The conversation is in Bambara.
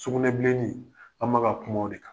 Sugunɛbilen, an ma ka kuma o de kan